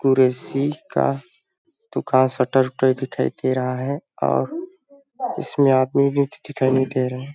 कुरेसी का दुकान शटर उटर दिखाई दे रहा है और इसमें आदमी भी दिखाई नइ दे रहा है।